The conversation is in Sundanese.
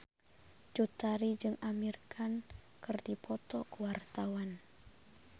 Cut Tari jeung Amir Khan keur dipoto ku wartawan